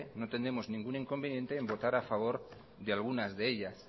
no tenemos ningún inconveniente en votar a favor de algunas de ellas